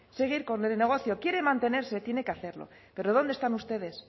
seguir con el negocio quiere mantenerse tiene que hacerlo pero dónde están ustedes